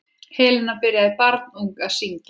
Helena byrjaði barnung að syngja.